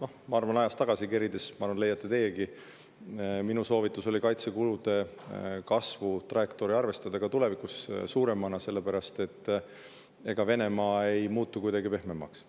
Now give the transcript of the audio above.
ma arvan, et kui ajas tagasi kerida, siis leiate teiegi, et minu soovitus oli kaitsekulude kasvu trajektoori arvestada ka tulevikus, sellepärast et ega Venemaa ei muutu kuidagi pehmemaks.